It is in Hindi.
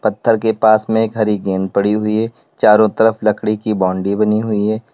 पत्थर के पास में एक हरी गेंद पड़ी हुई है चारों तरफ लकड़ी की बाउंड्री बनी हुई है।